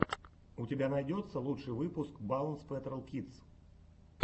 у тебя найдется лучший выпуск баунс пэтрол кидс